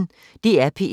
DR P1